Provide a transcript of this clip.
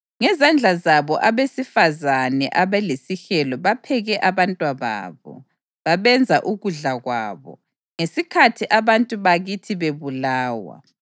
Ngezandla zabo abesifazane abalesihelo, bapheke abantwababo, babenza ukudla kwabo ngesikhathi abantu bakithi bebulawa.